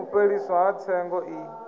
u fheliswa ha tsengo i